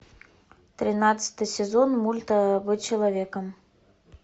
тринадцатый сезон мульта быть человеком